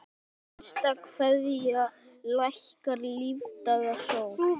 HINSTA KVEÐJA Lækkar lífdaga sól.